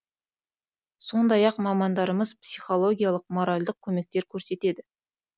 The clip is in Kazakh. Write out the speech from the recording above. сондай ақ мамандарымыз психологиялық моральдық көмектер көрсетеді